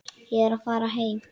Ég er að fara heim.